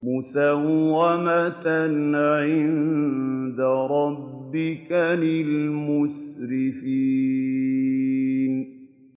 مُّسَوَّمَةً عِندَ رَبِّكَ لِلْمُسْرِفِينَ